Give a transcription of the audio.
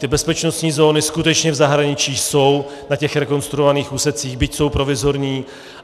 Ty bezpečnostní zóny skutečně v zahraničí jsou na těch rekonstruovaných úsecích, byť jsou provizorní.